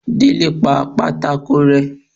délé pá pàtàkó rẹ